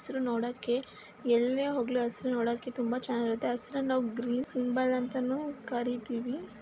ಹಸಿರು ನೋಡೊಕ್ಕೆ ಎಲ್ಲೆ ಹೋಗಲಿ ಹಸಿರು ನೋಡೊಕ್ಕೆ ತುಂಬಾ ಚನ್ನಾಗಿರುತ್ತೆ. ಹಸಿರನ್ನ ನಾವು ಗ್ರೀನ್ ಸಿಂಬಲ್ ಅಂತಾನೂ ಕರೀತೀವಿ.